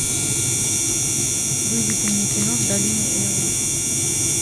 выведи мне кино в долине эла